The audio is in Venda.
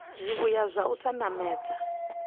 zwivhuya zwa u sa namedza